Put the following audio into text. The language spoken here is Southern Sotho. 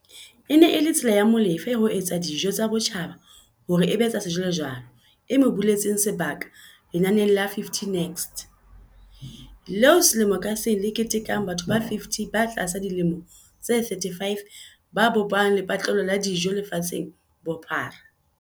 E ne e le tsela ya Molefe ya ho etsa dijo tsa botjhaba hore e be tsa sejwalejwale e mo buletseng sebaka lenaneng la 50 Next, leo selemo ka seng le ketekang batho ba 50 ba tlasa dilemo tse 35 ba bopang lepatle-lo la dijo lefatsheng ka bophara.